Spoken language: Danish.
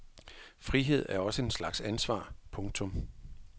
Frihed er også en slags ansvar. punktum